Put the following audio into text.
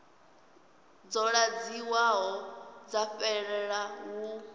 dzo ḓadziwaho dza fhelela hu